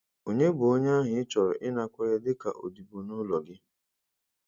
Ònye bụ onye ahụ ị chọrọ ịnakwere dị ka odibo nụlọ gị?